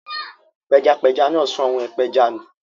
Pẹjapẹja náà sọ àwọ̀n ìpẹja nù.